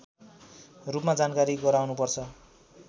रूपमा जानकारी गराउनुपर्छ